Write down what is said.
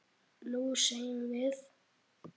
Nú semjum við!